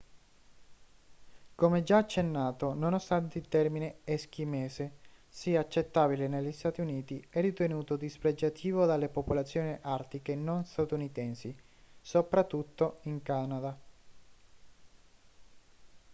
come già accennato nonostante il termine eschimese sia accettabile negli stati uniti è ritenuto dispregiativo dalle popolazioni artiche non statunitensi soprattutto in canada